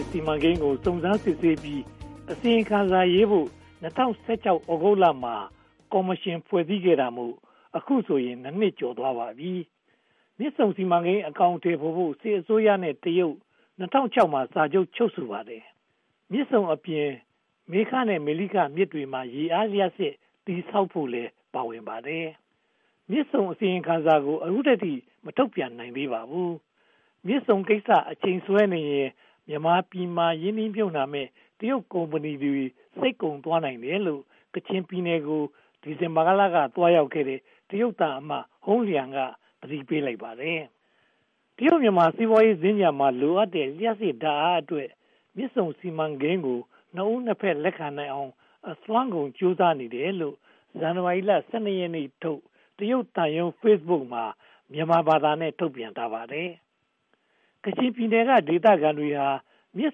စ်စီမံကိန်းကို စုံစမ်းစစ်ဆေးပြီး အစီရင်ခံစာရေးဖို့ ၂၀၁၆ သြဂုတ်လမှာ ကော်မရှင်ဖွဲ့စည်းတာမို့ အခုဆိုရင် (၂) နှစ် ကျော်သွားပါပြီ။ မြစ်ဆုံစီမံကိန်း အကောင်အထည်ဖော်ဖို့ စစ်အစိုးရနဲ့ တရုတ်တို့ ၂၀၀၆ ခုနှစ်မှာ စာချုပ်ချုပ်ဆိုခဲ့ပါတယ်။ မြစ်ဆုံအပြင် မေခနဲ့ မလိခမြစ်တွေမှာ ရေအားလျှပ်စစ်စက်ရုံ တည်ဆောက်ဖို့လည်း ပါဝင်ပါတယ်။ မြစ်ဆုံအစီရင်ခံစာကို အခုထိ ဘာမှမထုတ်ပြန်နိုင်သေးပါဘူး။ မြစ်ဆုံကိစ္စ အချိန်ဆွဲနေရင် မြန်မာပြည်မှာ ရင်းနှီးမြုပ်နံှမယ့် တရုတ်ကုမ္ပဏီတွေ စိတ်ကုန်သွားနိုင်တယ်လို့ ကချင်ပြည်နယ်ကို ဒီဇင်ဘာလက သွားရောက်ခဲ့တဲ့ တရုတ်သံအမတ် ဟုန်းလျံ က သတိပေးလိုက်ပါတယ်။ တရုတ်-မြန်မာ စီးပွားရေးစင်္ကြန်မှာ လိုအပ်တဲ့ လျှပ်စစ်ဓါတ်အားအတွက် မြစ်ဆုံစီမံကိန်းကို နှစ်ဦးနှစ်ဖက် လက်ခံနိုင်အောင် အစွမ်းကုန်ကြိုးစားနေတယ်လို့ ဇန်နဝါရီလ (၁၂) ရက်နေ့ထုတ် တရုတ်သံရုံး Facebook မှာ မြန်မာဘာသာနဲ့ ထုတ်ပြန်ထားပါတယ်။ ကချင်ပြည်နယ်က ဒေသခံတွေဟာ မြစ်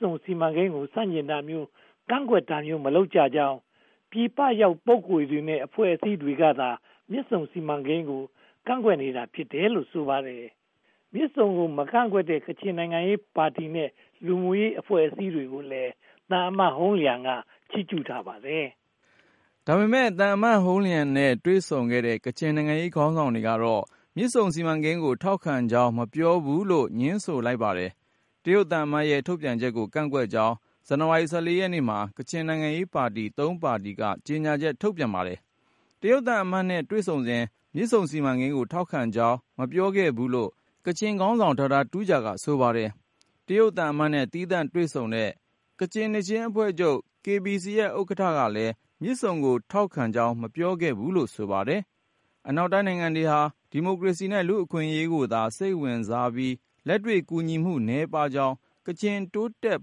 ဆုံစီမံကိန်းကို ဆန့်ကျင်တာမျိုး၊ ကန့်ကွက်တာမျိုး၊ မလုပ်ကြကြောင်း ပြည်ပရောက်ပုဂ္ဂိုလ်တွေနဲ့ အဖွဲ့အစည်းတွေကသာ မြစ်ဆုံစီမံကိန်းကို ကန့်ကွက်နေကြတာ ဖြစ်တယ်လို့ ဆိုပါတယ်။ မြစ်ဆုံကို မကန့်ကွက်တဲ့ ကချင်နိုင်ငံရေးပါတီနဲ့ လူမှုရေးအဖွဲ့အစည်းတွေကိုလည်း သံအမတ်ဟုန်းလျံက ချိးကျူးထားပါတယ်။ ဒါပေမဲ့ သံအမတ်ဟုန်းလျံနဲ့ တွေ့ဆုံခဲ့တဲ့ ကချင်နိုင်ငံရေးခေါင်းဆောင်တွေကတော့ မြစ်ဆုံစီမံကိန်းကို ထောက်ခံကြောင်း မပြောဘူးလို့ ငြင်းဆိုလိုက်ပါတယ်။ တရုတ်သံအမတ်ရဲ့ ထုတ်ပြန်ချက်ကို ကန့်ကွက်ကြောင်း ဇန်နဝါရီလ (၁၄) ရက်နေ့မှာ ကချင်နိုင်ငံရေးပါတီ (၃) ပါတီက ကြေညာချက်ထုတ်ပြန်ပါတယ်။ တရုတ်သံအမတ်နဲ့ တွေ့ဆုံစဉ် မြစ်ဆုံစီမံကိန်းကို ထောက်ခံကြောင်း မပြောခဲ့ဘူးလို့ ကချင်ခေါင်းဆောင် Dr. Tuja က ဆိုပါတယ်။ တရုတ်သံအမတ်နဲ့ သီသန့်တွေ့ဆုံတဲ့ ကချင်နှစ်ချင်းအဖွဲ့ချုပ် Kachin Baptist Church ရဲ့ ဥက္ကဋ္ဌကလည်း မြစ်ဆုံကို ထောက်ခံကြောင်း မပြောခဲ့ဘူးလို့ ဆိုပါတယ်။ အနောက်နိုင်ငံတွေဟာ ဒီမိုကရေစီနဲ့ လူ့အခွင့်အရေးကိုသာ စိတ်ဝင်စားပြီး လက်တွေ့ကူညီမှု နည်းပါးကြောင်း ကချင်တိုးတက်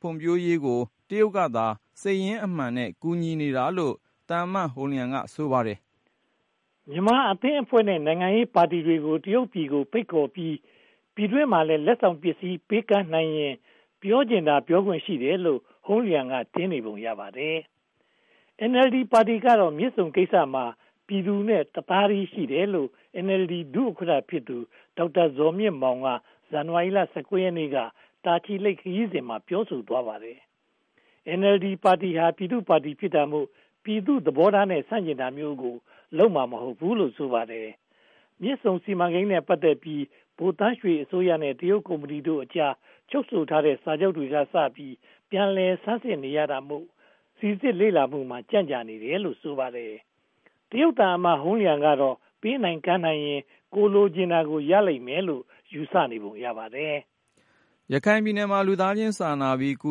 ဖွံ့ဖြိုးရေးကို တရုတ်ကသာ စိတ်ရင်းအမှန်နဲ့ ကူညီနေတာလို့ ဟုန်းလျံ က ဆိုပါတယ်။ မြန်မာအသင်းအဖွဲ့နဲ့ နိုင်ငံရေးပါတီဝင်တွေကို တရုတ်ပြည်ကိုဖိတ်ခေါ်ပြီး ပြည်တွင်းမှာလည်း လက်ဆောင်ပစ္စည်း ပေးကမ်းနိုင်ရင် ပြောချင်တာ ပြောခွင့်ရှိတယ်လို့ ဟုန်းလျံ က ထင်နေပုံရပါတယ်။ NLD ပါတီကတော့ မြစ်ဆုံကိစ္စမှာ ပြည်သူနဲ့တသားတည်းရှိတယ်လို့ NLD ဒုဥက္ကဋ္ဌဖြစ်သူ ဒေါက်တာဇော်မြင့်မောင် က ဇန်နဝါရီလ (၁၉) ရက်နေ့က တာချီလိတ်ခရီးစဉ်မှာ ပြောဆိုသွားပါတယ်။ NLD ပါတီဟာ ပြည်သူ့ပါတီဖြစ်တာမို့ ပြည်သူ့သဘောထားနဲ့ ဆန့်ကျင်တာမျိုးကို လုပ်မှာမဟုတ်ဘူးလို့ ဆိုပါတယ်။ မြစ်ဆုံစီမံကိန်းနဲ့ ပတ်သက်ပြီး ဗိုလ်သန်းရွှေအစိုးရနဲ့ တရုတ်ကုမ္ပဏီတို့အကြား ချုပ်ဆိုထားတဲ့စာချုပ်တွေကစပြီး ပြန်လည်ဆန်းစစ်နေရတာမို့ စီစစ်လေ့လာမှုမှာ ကြန့်ကြာနေရတာလို့ ဆိုပါတယ်။ တရုတ်သံအမတ် ဟုန်းလျံကတော့ ပေးနိုင်ကမ်းနိုင်ရင် ကိုယ်လိုချင်တာကို ရလိမ့်မယ်လို့ ယူဆနေပုံရပါတယ်။ ရခိုင်ပြည်နယ်မှာ လူသားချင်းစာနာပြီး ကူ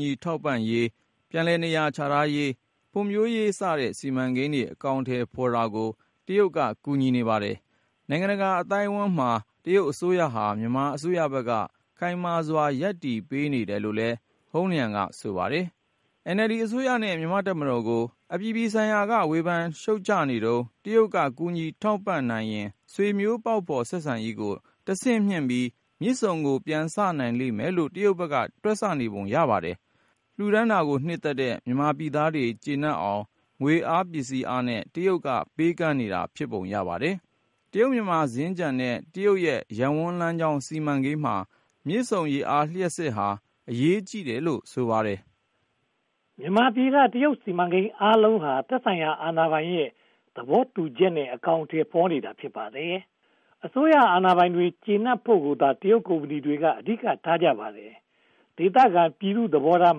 ညီထောက်ပံ့ရေး၊ ပြန်လည်နေရာချထားရေး၊ ဖွံ့ဖြိုးရေးစတဲ့ စီမံကိန်းတွေ အကောင်အထည်ဖော်တာကို တရုတ်က ကူညီနေပါတယ်။ နိုင်ငံတကာအသိုက်အဝန်းမှာ တရုတ်အစိုးရဟာ မြန်မာအစိုးရဘက်က ခိုင်မာစွာ ရပ်တည်ပေးနေတယ်လို့လည်း ဟုန်းလျံ က ဆိုပါတယ်။ NLD အစိုးရနဲ့ မြန်မာ့တပ်မတော်ကို အပြည်ပြည်ဆိုင်ရာမှာ ဝေဖန်ရှုတ်ချနေတုန်း တရုတ်က ကူညီထောက်ပံ့နိုင်ရင် ဆွေမျိုးပေါက်ဖော်ဆက်ဆံရေးကို တဆင့်မြှင့်ပြီး မြစ်ဆုံကို ပြန်စနိုင်လိမ့်မယ်လို့ တရုတ်ဘက်က တွက်နေပုံရပါတယ်။ လှူဒါန်းတာကို နှစ်သက်တဲ့ မြန်မာပြည်သားတွေ ကျေနပ်အောင် ငွေအားပစ္စည်းအားနဲ့ တရုတ်က ပေးကမ်းနေတာ ဖြစ်ပုံရပါတယ်။ တရုတ်-မြန်မာ စင်္ကြန်နဲ့ တရုတ်ရဲ့ ရပ်ဝန်းလမ်းကြောင်းစီမံကိန်းမှာ မြစ်ဆုံရေအား လျှပ်စစ်ဟာ အရေးကြီးတယ်လို့ ဆိုပါတယ်။ မြန်မာပြည်က တရုတ်စီမံကိန်းအားလုံးဟာ သက်ဆိုင်ရာအာဏာပိုင်တွေရဲ့ သဘောတူညီချက်နဲ့ အကောင်အထည်ဖော်နေတာ ဖြစ်ပါတယ်။ အစိုးရအာဏာပိုင်တွေ ကျေနပ်ဖို့ကိုသာ တရုတ်ကုမ္ပဏီတွေ အဓိကထားကြပါတယ်။ ဒေသခံပြည်သူ့သဘောထား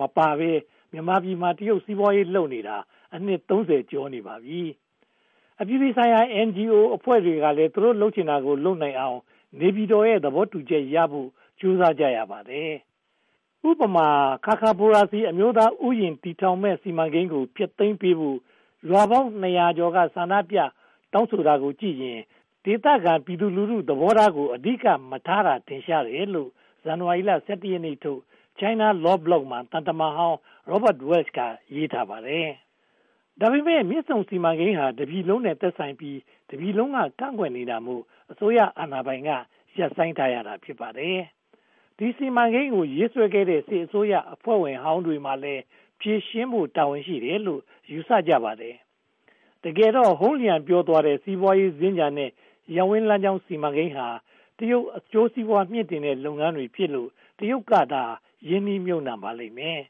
မပါဘဲ မြန်မာပြည်မှာ တရုတ်စီးပွားရေးလုပ်နေတာ အနှစ် (၃၀) ကျော်ပါပြီ။ အပြည်ပြည်ဆိုင်ရာ NGO အဖွဲ့တွေကလည်း သူတို့ လုပ်ချင်တာလုပ်နိုင်အောင် နေပြည်တော်ရဲ့ သဘောတူချက်ရဖို့ ကြိုးစားကြရပါတယ်။ ခါခါဘိုရာဇီ အမျိုးသားဥယျာဉ် တည်ထောင်မယ့်စီမံကိန်းကို ဖျက်သိမ်းပေးဖို့ ရွာပေါင်းနှစ်ရာကျော်က ဆန္ဒပြတောင်းဆိုတာကိုကြည့်ရင် ဒေသခံပြည်သူလူထု သဘောထားကို အဓိကမထားကြတာ ထင်ရှားတယ်လို့ ဇန်နဝါရီလ (၁၁) ရက်နေ့ထုတ် China Law Blog မှာ သံတမန်ဟောင်း Robert Walsh က ရေးထားပါတယ်။ ဒါပေမဲ့ မြစ်ဆုံစီမံကိန်းဟာ တပြည်လုံးနဲ့ သက်ဆိုင်ပြီး တပြည်လုံးက ကန့်ကွက်နေတာမို့ အစိုးရအာဏာပိုင်က ရပ်ဆိုင်းထားရတာ ဖြစ်ပါတယ်။ ဒီ စီမံကိန်းကို ရေးဆွဲခဲ့တဲ့ စစ်အစိုးရအဖွဲ့ဝင်ဟောင်းတွေမှာလည်း ဖြေရှင်းဖို့ တာဝန်ရှိတယ်လို့ ယူဆကြပါတယ်။ တကယ်တော့ ဟုန်းလျံ ပြောသွားတဲ့ စီးပွားရေးစင်္ကြန်နဲ့ ရပ်ဝန်းလမ်းကြောင်းစီမံကိန်းဟာ တရုတ်အကျိုးစီးပွား မြှင့်တင်တဲ့လုပ်ငန်းတွေဖြစ်လို့ တရုတ်ကသာ ရင်းနှီးမြုပ်နံှပါလိမ့်မယ်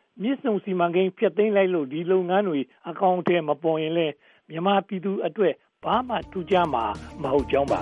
။ မြစ်ဆုံစီမံကိန်း ဖျက်သိမ်းလို့ ဒီလုပ်ငန်းတွေ အကောင်အထည်မပေါ်လဲ မြန်မာပြည်သူတွေအတွက် ဘာမှထူးခြားမှာ မဟုတ်ကြောင်းပါ